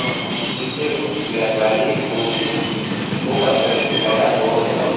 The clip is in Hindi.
उनसे उस व्यापारी को भी वो पत्थर दिखाया और